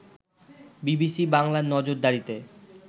BBC বাংলার নজরদারিতে